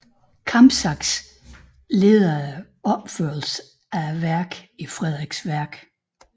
Kampsax leder opførelsen af værket i Frederiksværk